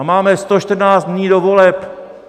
A máme 114 dní do voleb.